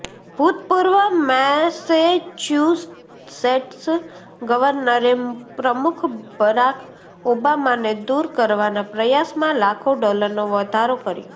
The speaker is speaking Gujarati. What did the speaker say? ભૂતપૂર્વ મેસેચ્યુસેટ્સ ગવર્નરે પ્રમુખ બરાક ઓબામાને દૂર કરવાના પ્રયાસમાં લાખો ડોલરનો વધારો કર્યો